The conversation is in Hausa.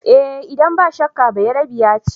Eh idan ba shakka, Bayerebiya ce.